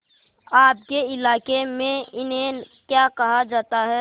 आपके इलाके में इन्हें क्या कहा जाता है